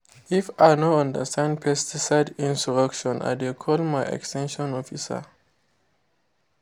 if i no understand pesticide instruction i dey call my ex ten sion officer.